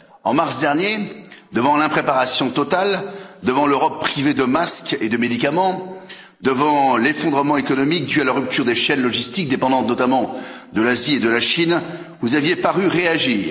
En mars dernier, devant l'impréparation totale, devant l'Europe privée de masques et de médicaments, devant l'effondrement économique due la rupture des chaînes logistiques dépendant notamment de l'Asie et de la Chine, vous aviez paru réagir.